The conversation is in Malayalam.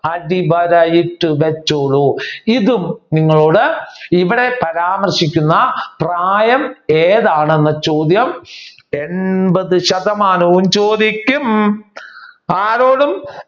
അടിവര ഇട്ട് വെച്ചോളൂ. ഇതും നിങ്ങളോട് ഇവിടെ പരാമർശിക്കുന്ന പ്രായം എന്താണെന്ന ചോദ്യം എൺപത് ശതമാനവും ചോദിക്കും. ആരോടും